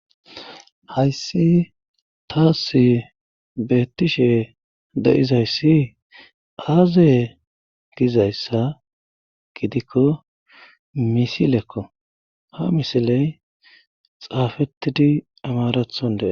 Hayssi taasi beettishe de'iza issi aaze giza issa giddikko misilekko ha misiley xaafetidi amarathon dees.